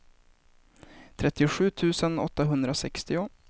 trettiosju tusen åttahundrasextio